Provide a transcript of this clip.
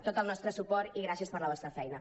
tot el nostre suport i gràcies per la vostra feina